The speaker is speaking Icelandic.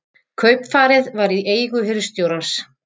Kaupfarið var í eigu hirðstjórans.